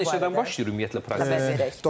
Saat neçədən başlayır ümumiyyətlə?